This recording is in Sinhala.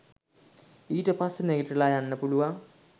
ඊට පස්සේ නැගිටලා යන්න පුළුවන්